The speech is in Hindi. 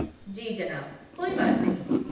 जी जनाब, कोई बात नहीं।